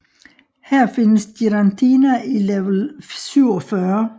Her findes Giratina i level 47